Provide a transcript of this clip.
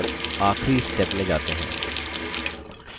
और आखिरी step में जाते हैं